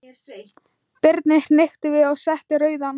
Birni hnykkti við og setti rauðan.